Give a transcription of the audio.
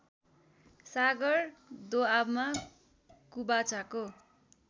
सागर दोआबमा कुबाचाको